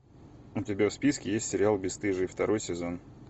у тебя в списке есть сериал бесстыжие второй сезон